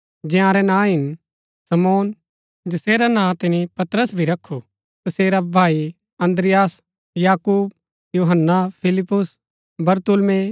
जयारैं नां हिन शमौन जैसेरा नां तिनी पतरस भी रखु तसेरा भाई अन्द्रियास याकूब यूहन्‍ना फिलिप्पुस बरतुल्मै